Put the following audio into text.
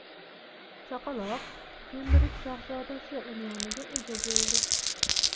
Chaqaloq Kembrij shahzodasi unvoniga ega bo‘ldi.